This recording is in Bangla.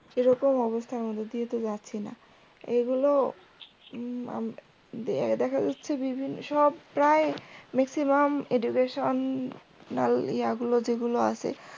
সেরকম অবস্থা আমাদের দিয়ে তো যাচ্ছি না এগুলো দেখা যাচ্ছে বিভিন্ন সব প্রায় maximumeducation ইয়াগুলো যেগুলো আছে